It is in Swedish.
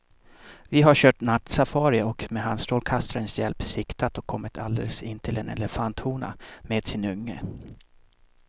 Vi har kört nattsafari och med handstrålkastarens hjälp siktat och kommit alldeles intill en elefanthona med sin unge.